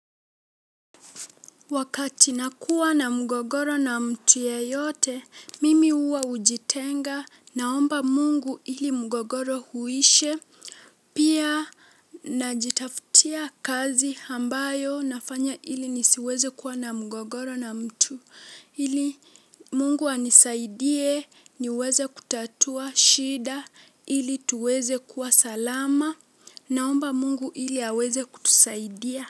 Wakati nakuwa na mgogoro na mtu yeyote, mimi huwa hujitenga, naomba mungu ili mgogoro uishe, pia najitaftia kazi ambayo nafanya ili nisiweze kuwa na mgogoro na mtu, ili mungu anisaidie, niweze kutatua shida, ili tuweze kuwa salama, naomba mungu ili aweze kutusaidia.